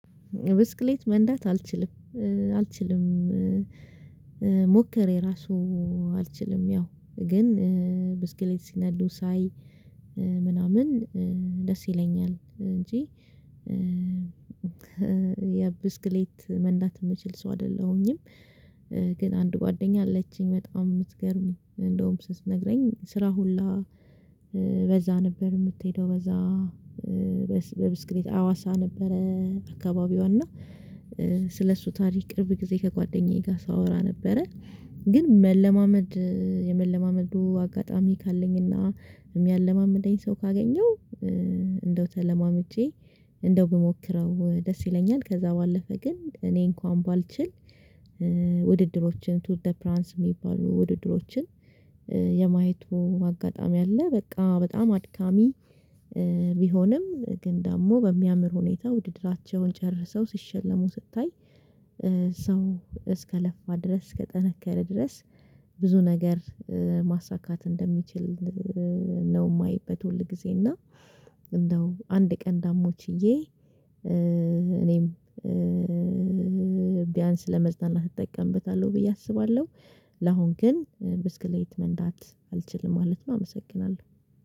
ብስክሌት መንዳት አልችልም። አልችልም ሞክሬ ራሱ አልችልም። ያው ግን ብስክሌት ሲነዱ ሳይ ምናምን ደስ ይለኛል። እንጂ የብስክሌት መንዳት የምችል ሰው አይደለሁኝም። አንድ ጓደኛ አለችኝ በጣም የምትገርም እንደውም ስትነግረኝ ስራ ሁላ በዛ ነበር የምትሄደው። በዛ በብስክሌት አዋሳ ነበረ አካባቢዋ። እና ስለሱ ታሪክ ቅርብ ጊዜ ከጓደኛዬ ጋር ሳወራ ነበረ። ግን መለማመድ የመለማመዱ አጋጣሚ ካለኝና፤ የሚያለማምደኝ ሰው ካገኘው፤ እንደው ተለማምጄ እንደው ብሞክረው ደስ ይለኛል። ከዛ ባለፈ ግን እኔ እንኳን ባልችል ውድድሮችን ቱ ዘ ፕራንስ የሚባሉ ውድድሮችን፤ የማየቱ አጋጣሚ አለ፤ በቃ በጣም አድካሚ ቢሆንም ግን ደግሞ በሚያምር ሁኔታ ውድድራቸውን ጨርሰው ሲሸለሙ ስታይ፤ ሰው እስከለፋ ድረስ፤ እስከጠነከረ ድረስ፤ ብዙ ነገር ማሳካት እንደሚችል፤ ነው የማየበት ሁል ጊዜ እና፤ እንደው አንድ ቀን ዳግሞ ችዬ እኔም ቢያንስ ለመዝናኛነት እጠቀምበታለሁ ብዬ አስባለሁ። ለአሁን ግን ብስክሌት መንዳት አልችልም ማለት ነው አመሰግናለሁ።